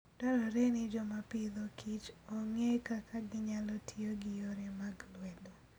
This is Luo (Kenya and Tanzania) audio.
Dwarore ni joma Agriculture and Food ong'e kaka ginyalo tiyo gi yore mag lwedo.